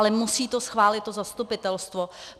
Ale musí to schválit to zastupitelstvo.